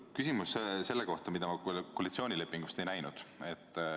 Küsimus on selle kohta, mida ma koalitsioonilepingus ei näinud.